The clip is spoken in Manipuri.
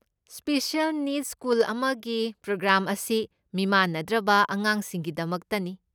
ꯁ꯭ꯄꯦꯁꯤꯑꯦꯜ ꯅꯤꯗꯁ ꯁ꯭ꯀꯨꯜꯁ ꯑꯃꯗꯤ ꯄ꯭ꯔꯣꯒ꯭ꯔꯥꯝꯁ ꯑꯁꯤ ꯃꯤꯃꯥꯟꯅꯗ꯭ꯔꯕ ꯑꯉꯥꯡꯁꯤꯡꯒꯤꯗꯃꯛꯇꯅꯤ꯫